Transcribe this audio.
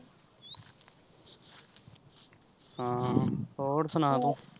ਹਾਂ ਹੋਰ ਸੁਣਾ ਤੂੰ।